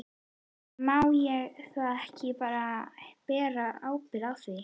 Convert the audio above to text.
En má ég þá ekki bara bera ábyrgð á því?